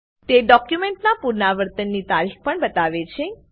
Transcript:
તે ડોક્યુમેન્ટના પુનરાવર્તનની તારીખ પણ બતાવે છે